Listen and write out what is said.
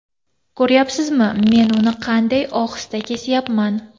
Ko‘rayapsizmi men uni qanday ohista kesayapman.